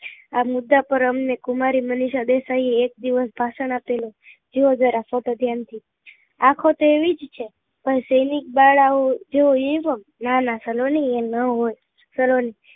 આ મુદ્દા પર અમને કુમારી મનીષા દેસાઈ એ એક દિવસ ભાષણ આપેલું જુઓ જરા ફોટો ધ્યાન થી આંખો તો એવી જ છે જો સૈનિક બાળા ઓ જુઓ એજ ના ના સરવણી એ નાં હોય સરવાણી